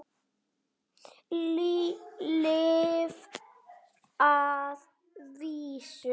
Lyf að vísu.